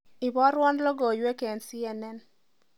Iborwo logoiwek eng c.n.n